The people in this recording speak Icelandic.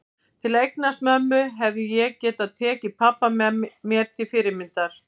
Til að eignast mömmu hefði ég getað tekið pabba mér til fyrirmyndar.